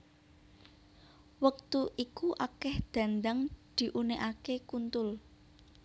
Wektu iku akeh dhandhang diunekake kuntul